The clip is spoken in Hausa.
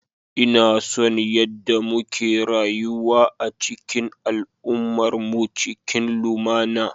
Ina son yadda muke rayuwa a cikin al'ummarmu cikin lumana.